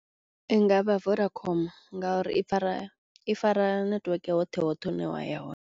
I nga vha Vodacom ngauri i fara i fara network hoṱhe hoṱhe hune wa ya hone.